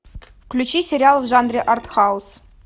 включи сериал в жанре артхаус